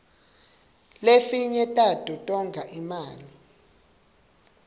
lefinye tato tonga imali